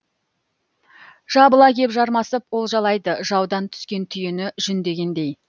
жабыла кеп жармасып олжалайды жаудан түскен түйені жүндегендей